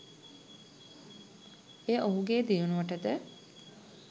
එය ඔහුගේ දියුණුවටද